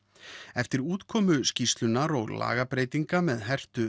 eftir útkomu skýrslunnar og lagabreytinga með hertu